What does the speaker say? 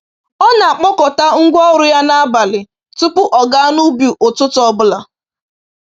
Ọ na-akpọkọta ngwa ọrụ ya n’abalị tupu ọ gaa n’ubi ụtụtụ ọ bụla.